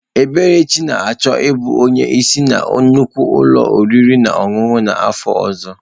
Eberechi na-achọ ịbụ onye isi na nnukwu ụlọ oriri na ọṅụṅụ n'afọ ọzọ